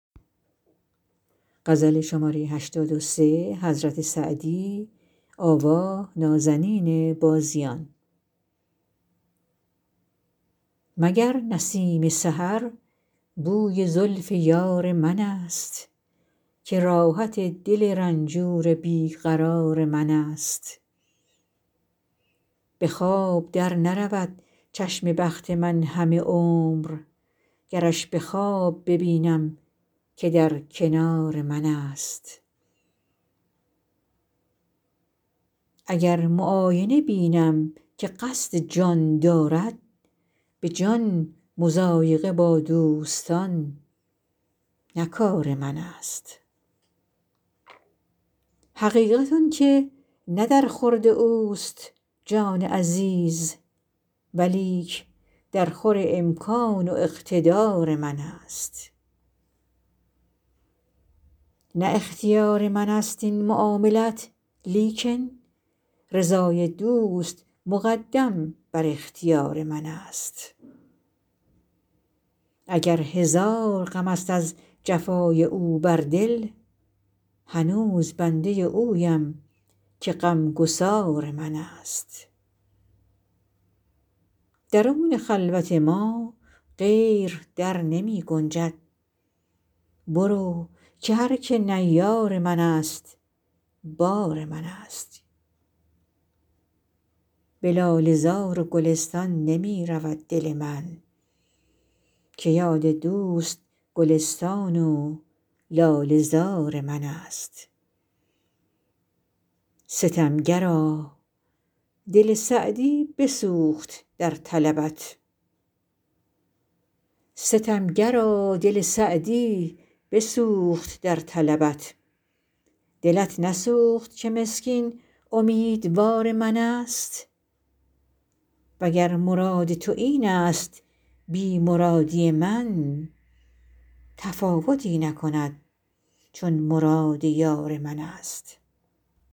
مگر نسیم سحر بوی زلف یار منست که راحت دل رنجور بی قرار منست به خواب در نرود چشم بخت من همه عمر گرش به خواب ببینم که در کنار منست اگر معاینه بینم که قصد جان دارد به جان مضایقه با دوستان نه کار منست حقیقت آن که نه در خورد اوست جان عزیز ولیک درخور امکان و اقتدار منست نه اختیار منست این معاملت لیکن رضای دوست مقدم بر اختیار منست اگر هزار غمست از جفای او بر دل هنوز بنده اویم که غمگسار منست درون خلوت ما غیر در نمی گنجد برو که هر که نه یار منست بار منست به لاله زار و گلستان نمی رود دل من که یاد دوست گلستان و لاله زار منست ستمگرا دل سعدی بسوخت در طلبت دلت نسوخت که مسکین امیدوار منست و گر مراد تو اینست بی مرادی من تفاوتی نکند چون مراد یار منست